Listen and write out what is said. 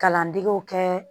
Kalandegew kɛ